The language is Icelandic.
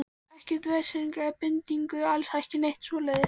Ekkert vesen eða bindingu, alls ekki neitt svoleiðis.